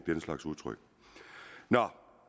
den slags udtryk nå